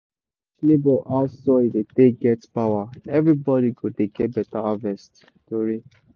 if we teach neighbor how soil dey take get power everybody go dey get better harvest tori.